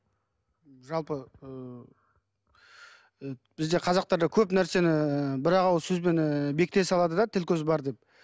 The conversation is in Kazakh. жалпы ыыы бізде қазақтарда көп нәрсені бір ақ ауыз сөзбен ы бекіте салады да тіл көз бар деп